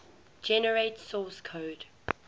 generate source code